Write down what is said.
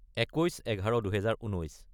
21-11-2019